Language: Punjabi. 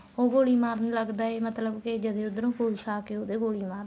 ਉਹ ਗੋਲੀ ਮਾਰਨ ਲੱਗਦਾ ਏ ਮਤਲਬ ਕੇ ਜਦੇਂ ਉੱਧਰੋ police ਆਕੇ ਉਹਦੇ ਗੋਲੀ